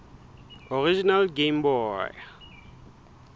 original game boy